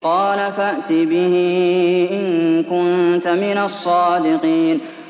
قَالَ فَأْتِ بِهِ إِن كُنتَ مِنَ الصَّادِقِينَ